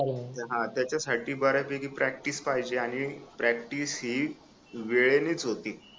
हा त्याच्यासाठी बऱ्यापैकी प्रॅक्टिस पाहिजे आणि प्रॅक्टिस ही वेळेनेच होती